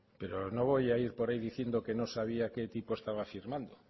pero no voy por ahí diciendo que no sabía qué tipo estaba firmando